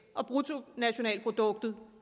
og bruttonationalproduktet